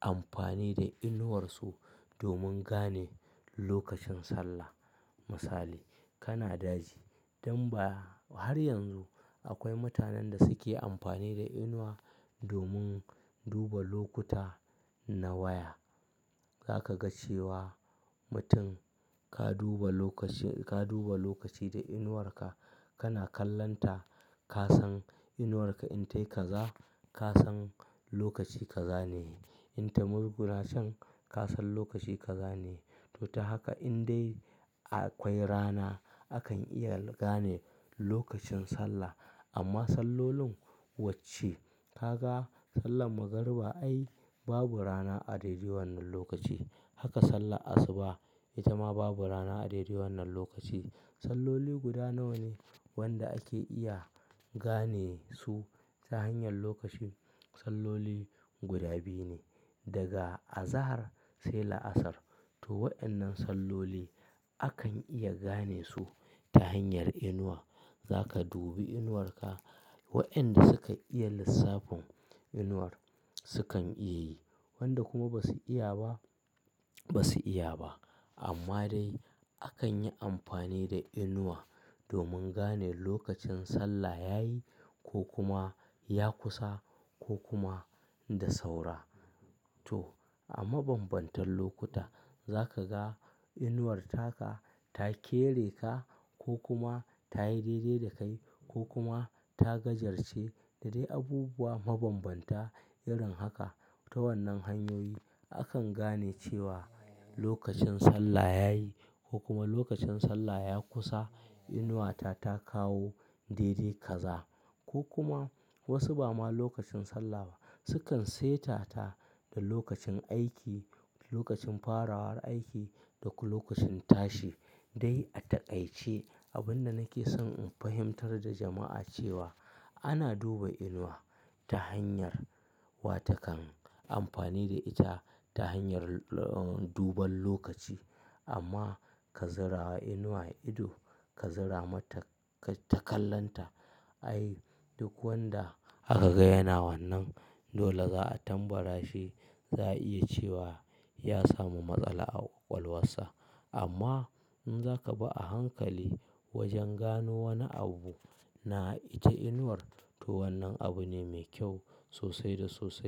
amfani da inuwarsu domin gane lokacin sallah. Misali kana daji, dan ba har yanzu akwai mutanen da suke amfani da inuwa domin duba lokuta na waya. Za ka ga cewa mutum ka duba lokaci, ka duba lokaci da inuwarka kana kallonta ka san inuwarka in tayi kaza ka san lokaci ka gane. In ta murgura can ka san lokaci ka zane. To ta haka in dai akwai rana akan iya gane lokacin sallah. Amma sallolin wacce ka ga sallar magariba ai babu rana a daidai wannan lokaci. Haka sallar asuba ita ma babu rana a daidai wannan lokaci. Salloli guda nawa ne wanda ake iya gane su ta hanyar lokacin? Salloli guda biyu ne daga azahar sai la'asar. To waɗannan salloli akan iya gane su ta hanyar inuwa. Za ka dubi inuwarka. Wa'yan da sukan iya lissafin inuwar sukan iya yi, waɗanda kuma ba su iya ba ba su iya ba. Amma dai akan yi amfani da inuwa domin gane lokacin sallah yayi ko kuma ya kusa ko kuma da saura. To a mabanbantan lokuta za ka ga inuwarka ta kere ka ko kuma ta yi daidai da kai ko kuma ta gajarce da dai abubuwa mabanbanta irin haka. Ta wannan hanyoyi akan gane cewa lokacin sallah yayi ko kuma lokacin sallah ya kusa. Inuwata ta kawo daidai kaza ko kuma wasu ba ma lokacin sallah ba sukan saita ta da lokacin aiki, lokacin farawar aiki da kuma lokacin tashi dai a taƙaice. Abin da nake son in fahimtar da jama'a cewa ana duba inuwa ta hanyar wata kan amfani da ita ta hanyar duban lokaci. Amma ka zura inuwa ido ka zura mata kai ta kallonta ai duk wanda aka ga yana wannan dole za a tambara shi za a iya cewa ya samu matsala a ƙwaƙwalwarsa. Amma in zaka bi a hankali wajen gano wani abu na ita inuwar to wannan abu ne mai kyau sosai da sosai.